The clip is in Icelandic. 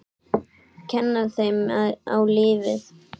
Kenna þeim á lífið.